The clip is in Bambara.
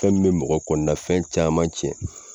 Fɛn nin bɛ mɔgɔ kɔnɔnafɛn caman tiɲɛ.